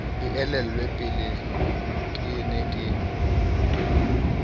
e elellwe peleke ne ke